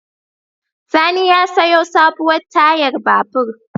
Sani ya sayo sabuwar tayar babur.